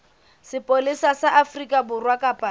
sepolesa sa afrika borwa kapa